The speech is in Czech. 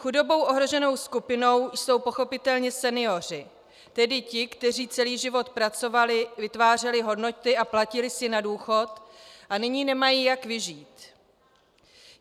Chudobou ohroženou skupinou jsou pochopitelně senioři, tedy ti, kteří celý život pracovali, vytvářeli hodnoty a platili si na důchod a nyní nemají jak vyžít.